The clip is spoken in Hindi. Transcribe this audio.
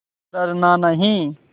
डरना नहीं